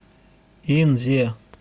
инзе